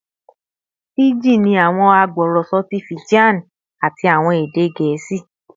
Fiji ni awọn agbọrọsọ ti Fijian ati awọn ede Gẹẹsi